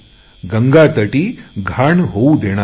गंगेतही घाण होवू देणार नाही